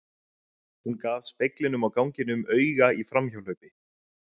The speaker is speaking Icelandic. Hún gaf speglinum á ganginum auga í framhjáhlaupi.